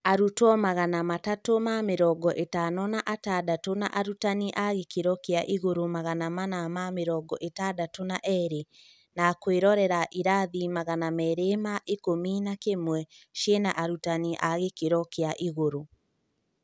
Arutwo magana matatũ ma mĩrongo-ĩtano na atandatu na arutani a gĩkĩro kĩa igũrũ magana mana ma mĩrongo-ĩtandatũ na erĩ na kũĩrorera irathi magana meeri ma ikũmi na kĩmwe ciĩna arutani a gĩkĩro kĩa igũrũ